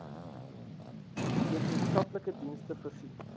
wetenskaplike dienste voorsien